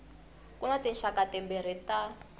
ku na tinxaka timbirhi ta